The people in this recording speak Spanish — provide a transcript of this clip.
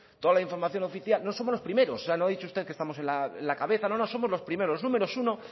toda la información oficial no somos los primeros o sea no ha dicho usted que estamos en la cabeza no no somos los primeros los números uno